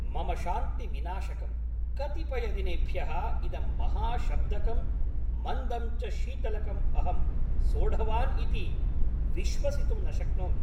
मम शान्तिविनाशकं, कतिपयदिनेभ्यः इदं महाशब्दकं, मन्दं च शीतलकम् अहं सोढवान् इति विश्वसितुं न शक्नोमि।